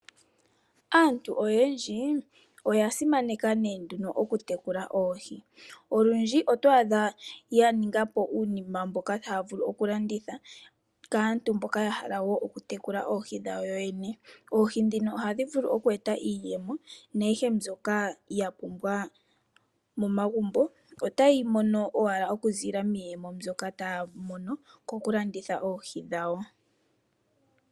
Aantu oyendji oya simaneka okutekula oohi, olundji otwaadha yaninga po uunima mboka haavulu okulanditha kaantu mboka yahala okutekula oohi dhawo yoyene, oohi dhino ohadhi vulu oku eta iiyemo naayihe mbyoka yapumbwa momagumbo ota yeyi mono koku landitha oohi dhawo.